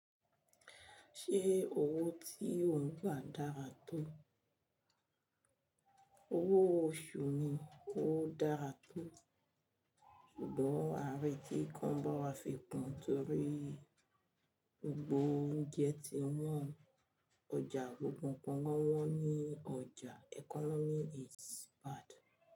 Ṣé owó tí ò ń gbà dára tó? Owó oṣù mi ò dára tó, ṣùgbọ́n ààrẹ tí kọ́ ń bá wa fi kun torí gbogbo oúnjẹ ti wọ́n o. Ọjà gbogbo nnkan wọ́n wọ́n ní ọjà. Economy is bad.